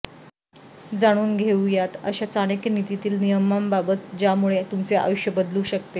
जाणून घेऊयात अशा चाणक्य नीतीतील नियमांबाबत ज्यामुळे तुमचे आयुष्य बदलू शकते